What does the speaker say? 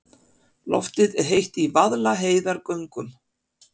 Loftið er heitt í Vaðlaheiðargöngum.